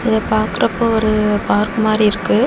இத பாக்குறப்போ ஒரு பார்க் மாரி இருக்கு.